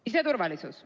Siseturvalisus.